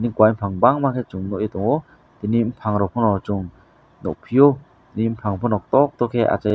kowai bopang bangma se chong nogoi tongo tini bopang rok pono chong nogpio tini bopang pono to to ke asai ye.